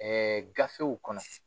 Ɛɛ gafew kɔnɔ